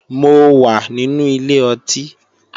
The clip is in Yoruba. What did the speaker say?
Mo wà nínú ilé ọtí